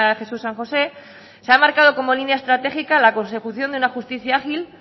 jesús san josé se ha marcado como línea estratégica la consecución de una justicia ágil